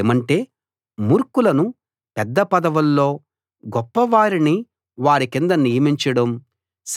ఏమంటే మూర్ఖులను పెద్ద పదవుల్లో గొప్పవారిని వారి కింద నియమించడం